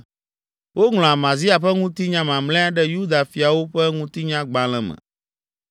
Woŋlɔ Amazia ƒe ŋutinya mamlɛa ɖe Yuda fiawo ƒe ŋutinyagbalẽ me.